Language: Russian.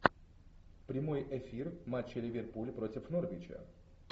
прямой эфир матча ливерпуль против норвича